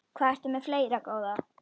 Hvað ertu með fleira, góða?